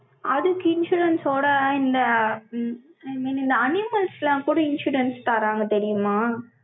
அதுக்கு insurance ஓட இந்த, ம், I mean இந்த animals எல்லாம் கூட, insurance தர்றாங்க தெரியுமா?